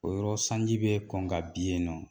O yɔrɔ sanji bɛ kɔn ka bin yen nɔ